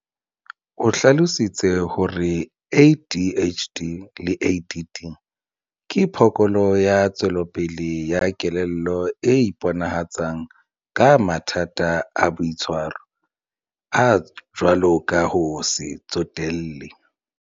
O hlalositse hore ADHD le ADD ke phokolo ya tswelopele ya kelello e iponahatsang ka mathata a boitshwaro, a jwalo ka ho se tsotelle.